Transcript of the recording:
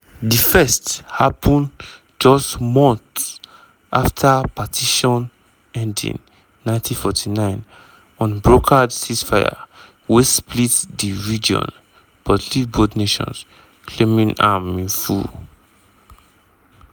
di first happun just months afta partition ending 1949 un-brokered ceasefire wey split di region but leave both nations claiming am in full.